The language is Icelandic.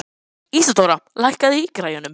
Ísadóra, lækkaðu í græjunum.